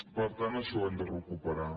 per tant això ho hem de recuperar